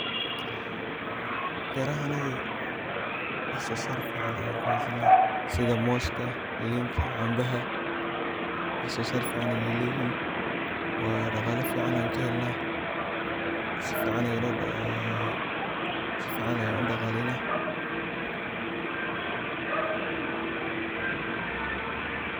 Berahenaga wax sosar fican ayan kuhasana. sidha moska, linta, canbaha .wax sosar fican ayay leyihin, waa daqala fican ayan kahelna si fican ayan udaqaleyna.